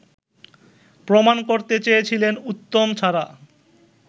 প্রমাণ করতে চেয়েছিলেন উত্তম ছাড়া